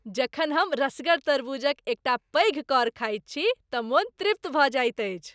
जखन हम रसगर तारबूजक एकटा पैघ कौर खाइत छी तँ मोन तृप्त भऽ जाइत अछि।